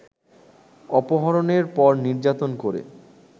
অপহরণের পর নির্যাতন করে